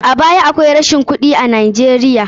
A baya akwai locin rashi na kuɗi a Najeiya.